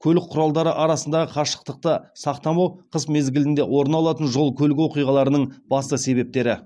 көлік құралдары арасындағы қашықтықты сақтамауы қыс мезгілінде орын алатын жол көлік оқиғаларының басты себептері